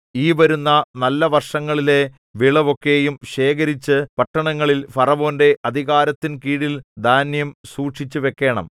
ഈ വരുന്ന നല്ല വർഷങ്ങളിലെ വിളവൊക്കെയും ശേഖരിച്ചു പട്ടണങ്ങളിൽ ഫറവോന്റെ അധികാരത്തിൻ കീഴിൽ ധാന്യം സൂക്ഷിച്ചുവെക്കേണം